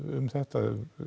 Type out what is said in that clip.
um þetta